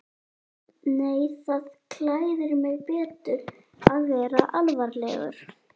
Nei það klæðir mig betur að vera alvarlegur.